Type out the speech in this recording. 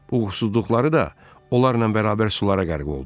Uğursuzluqları da onlarla bərabər sulara qərq oldu.